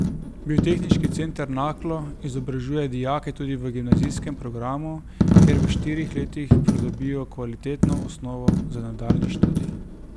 Biotehniški center Naklo izobražuje dijake tudi v gimnazijskem programu, kjer v štirih letih pridobijo kvalitetno osnovo za nadaljnji študij.